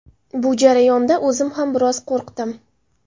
Bu jarayonda o‘zim ham biroz qo‘rqdim.